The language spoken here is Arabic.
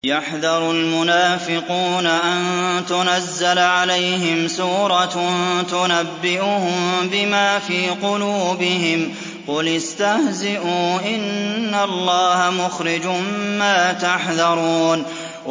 يَحْذَرُ الْمُنَافِقُونَ أَن تُنَزَّلَ عَلَيْهِمْ سُورَةٌ تُنَبِّئُهُم بِمَا فِي قُلُوبِهِمْ ۚ قُلِ اسْتَهْزِئُوا إِنَّ اللَّهَ مُخْرِجٌ مَّا تَحْذَرُونَ